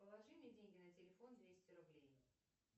положи мне деньги на телефон двести рублей